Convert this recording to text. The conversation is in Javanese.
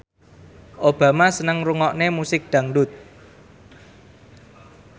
Obama seneng ngrungokne musik dangdut